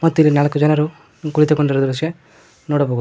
ಮತ್ತು ಇಲ್ಲಿ ನಾಲ್ಕು ಜನರು ಕುಳಿತುಕೊಂಡಿರುವ ದೃಶ್ಯ ನೋಡಬಹುದು.